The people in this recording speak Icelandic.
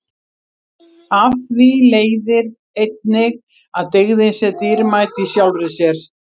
og af því leiðir einnig að dygðin sé dýrmæt í sjálfri sér